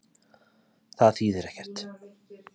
Það þýðir ekkert